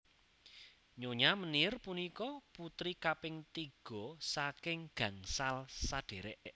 Nyonya Meneer punika putri kaping tiga saking gangsal sadherek